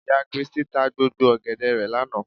Ìyá kiristí ta gbogbo ọ̀gẹ̀dẹ̀ rẹ̀ lánàá